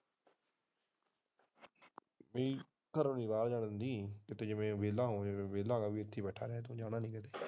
ਨਹੀਂ ਕਿ ਘਰੋਂ ਬਾਹਰ ਨਹੀਂ ਜਾਣ ਕਿ ਤੋਂ ਇੱਥੇ ਹੀ ਬੈਠਾ ਰਹਿ ਜਾਣਾ ਨਹੀਂ ਕਿੱਥੇ।